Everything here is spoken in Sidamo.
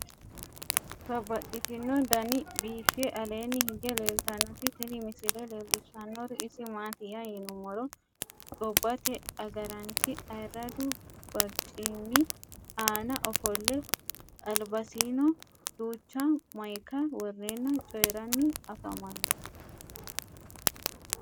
Babaxxittinno daninni biiffe aleenni hige leelittannotti tinni misile lelishshanori isi maattiya yinummoro gobbatte agaraanchi ayiiradu bariccimmi aanna offolle, alibasiinno duucha mayike woreenna coyiiranni affammanno.